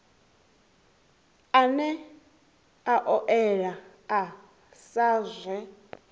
ane a oea sa zwe